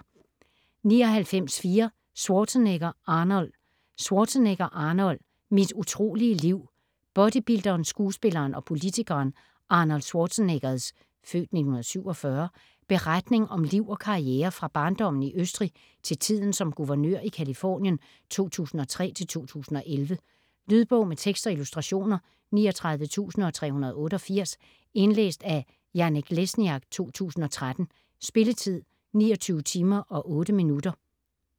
99.4 Schwarzenegger, Arnold Schwarzenegger, Arnold: Mit utrolige liv Bodybuilderen, skuespilleren og politikeren Arnold Schwarzeneggers (f. 1947) beretning om liv og karriere fra barndommen i Østrig til tiden som guvernør i Californien 2003-2011. Lydbog med tekst og illustrationer 39388 Indlæst af Janek Lesniak, 2013. Spilletid: 29 timer, 8 minutter.